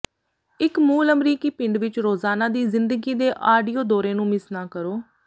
ਇੱਕ ਮੂਲ ਅਮਰੀਕੀ ਪਿੰਡ ਵਿੱਚ ਰੋਜ਼ਾਨਾ ਦੀ ਜ਼ਿੰਦਗੀ ਦੇ ਆਡੀਓ ਦੌਰੇ ਨੂੰ ਮਿਸ ਨਾ ਕਰੋ